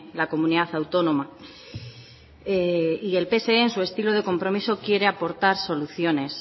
la comunidad autónoma y el pse en su estilo de compromiso quiere aportar soluciones